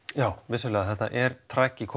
já vissulega er